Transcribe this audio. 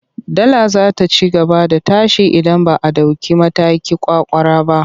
Dala za ta ci gaba da tashi idan ba a ɗauki mataki ƙwaƙƙwara ba.